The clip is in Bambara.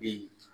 Bi